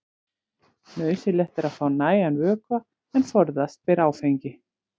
Nauðsynlegt er að fá nægan vökva en forðast ber áfengi.